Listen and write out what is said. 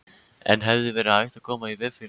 En hefði verið hægt að koma í veg fyrir þetta?